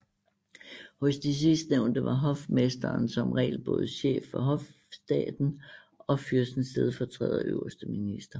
Hos de sidstnævnte var hofmesteren som regel både chef for hofstaten og fyrstens stedfortræder og øverste minister